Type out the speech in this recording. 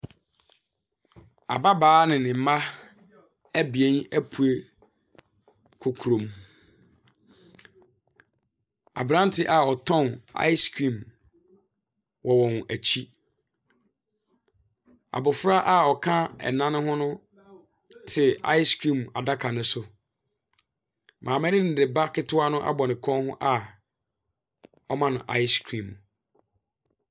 Ababaa ne ne mma abien apue kɔ kurom. Abrante a ɔtɔn ice cream wɔ wɔn akyi. Abofra a ɔka ɛna no ho no te ice cream adaka no so. Maame no de ba ketewa no abɔ ne kɔn ho a ɔrema no ice cream.